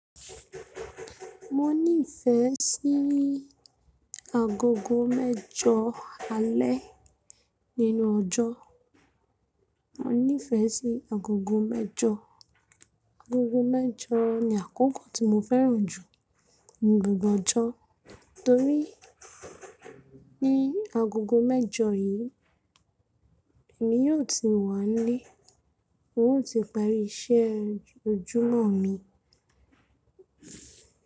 Mo nífẹ̀ẹ́ sí agogo mẹ́jọ alẹ́ nínú ọjọ́. Mo nífẹ̀ẹ́ sí agogo mẹ́jọ, agogo mẹ́jọ ni àkókò tí mo fẹ́ràn jù ní gbogbo ọjọ́ torí ní agogo mẹ́jọ yìí èmi yóò ti wà nílé, hun o ti parí iṣẹ́ ojúmọ́ mi.